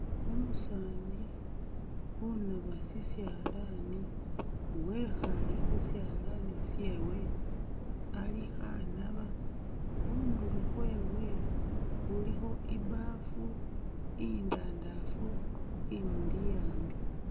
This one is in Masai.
Umusani unaba shishalani wekhale khushalani shewe alikho anaba khundulo khwewe khulikho ibaafu indandafu imuli hambi